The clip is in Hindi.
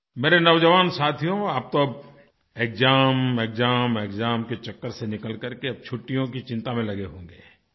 मेरे नौजवान साथियो आप तो अब एक्साम एक्साम एक्साम के चक्कर से निकलकर के अब छुट्टियों की चिंता में लगे होंगे